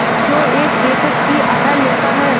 क्यों एक बेकस की आह लेता है